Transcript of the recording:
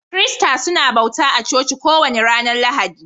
Kirista suna bauta a coci kowani ranan Lahadi.